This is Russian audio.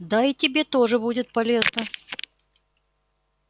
да и тебе тоже будет полезно